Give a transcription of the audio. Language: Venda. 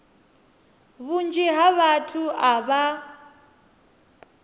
vhunzhi ha vhathu a vha